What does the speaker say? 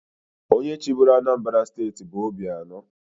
Onye chịburu Anambra steeti bụ Obianọ.